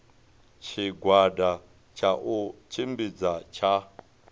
tshigwada tsha u tshimbidza tsha